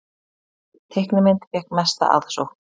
Teiknimynd fékk mesta aðsókn